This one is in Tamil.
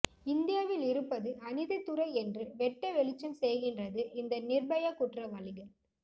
இந்தியாவில் இருப்பது அநீதித்துறை என்று வெட்டவெளிச்சம் செய்கின்றது இந்த நிர்பயா குற்றவாளிகள்